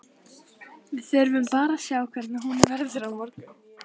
Við þurfum bara að sjá hvernig hún verður á morgun.